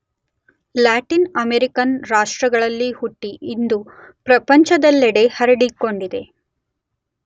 Latin American ರಾಷ್ಟ್ರಗಳಲ್ಲಿ ಹುಟ್ಟಿ ಇಂದು ಪ್ರಪಂಚದಲ್ಲೆಡೆ ಹರಡಿಕೊಂಡಿದೆ.